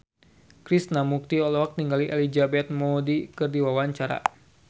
Krishna Mukti olohok ningali Elizabeth Moody keur diwawancara